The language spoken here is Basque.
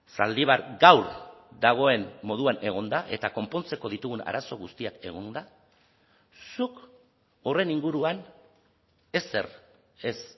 zaldibar gaur dagoen moduan egonda eta konpontzeko ditugun arazo guztiak egonda zuk horren inguruan ezer ez